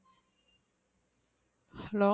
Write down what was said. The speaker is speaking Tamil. hello